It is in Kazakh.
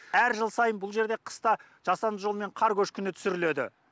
әр жыл сайын бұл жерде қыста жасанды жолмен қар көшкіні түсіріледі